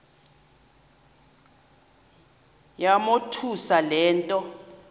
yamothusa le nto